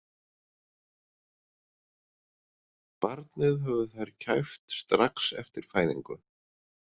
Barnið höfðu þær kæft strax eftir fæðingu.